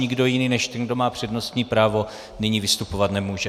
Nikdo jiný než ten, kdo má přednostní právo, nyní vystupovat nemůže.